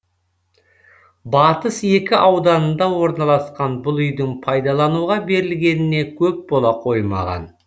батыс екі ауданында орналасқан бұл үйдің пайдалануға берілгеніне көп бола қоймаған